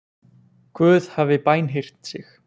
Guð hafi bænheyrt sig